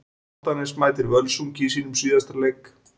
Álftanes mætir Völsungi í sínum síðasta leik.